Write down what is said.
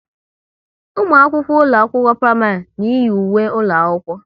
Ụmụ akwụkwọ ụlọ akwụkwọ praịmarị na iyi ùwé ụlọ akwụkwọ